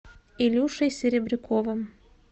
илюшей серебряковым